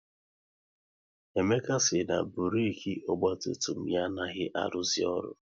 Emeka si na burek ọgba tum tum ya anaghị aruzi ọrụ